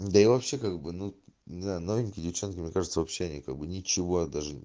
да и вообще как бы ну я новенький девчонками кажется вообще никому ничего даже